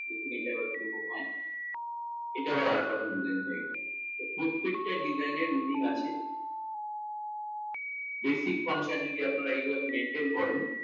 দেখুন তা এবার কিরকম হয়, এটাও একরকম design হয়ে গেলো। তো প্রত্যেকটা design এর meaning আছে। Basic concern যদি আপনারা এভাবে maintain করেন